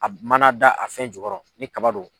a mana da a fɛn jukɔrɔ ni kaba do.